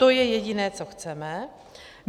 To je jediné, co chceme.